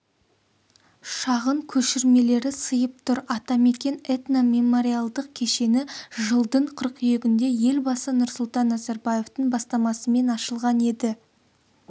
шағын көшірмелері сыйып тұр атамекен этно-мемориалдық кешені жылдың қыркүйегінде елбасы нұрсұлтан назарбаевтың бастамасымен ашылған еді